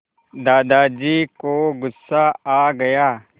दादाजी को गुस्सा आ गया